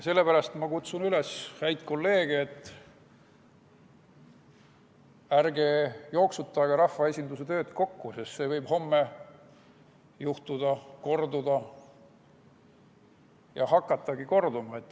Seepärast kutsun ma häid kolleege üles, et ärge jooksutage rahvaesinduse tööd kokku, sest see võib homme korduda ja hakatagi korduma.